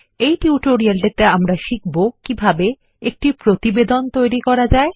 এই টিউটোরিয়ালটিতে আমরা শিখব কিভাবে একটি প্রতিবেদন তৈরী করা যায়